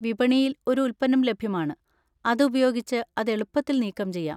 വിപണിയിൽ ഒരു ഉൽപ്പന്നം ലഭ്യമാണ്, അത് ഉപയോഗിച്ച് അത് എളുപ്പത്തിൽ നീക്കംചെയ്യാം.